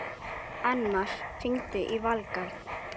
Annmar, hringdu í Valgarð.